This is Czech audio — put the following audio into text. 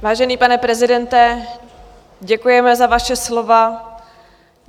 Vážený pane prezidente, děkujeme za vaše slova.